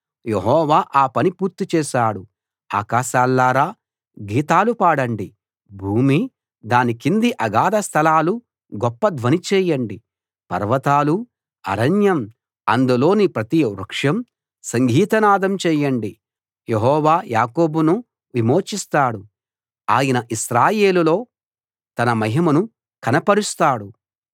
యెహోవా ఆ పని పూర్తి చేశాడు ఆకాశాల్లారా గీతాలు పాడండి భూమీ దాని కింది అగాధ స్థలాలు గొప్ప ధ్వని చేయండి పర్వతాలూ అరణ్యం అందులోని ప్రతి వృక్షం సంగీతనాదం చేయండి యెహోవా యాకోబును విమోచిస్తాడు ఆయన ఇశ్రాయేలులో తన మహిమను కనపరుస్తాడు